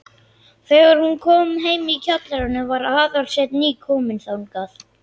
Þegar hún kom heim í kjallarann var Aðalsteinn nýkominn þangað.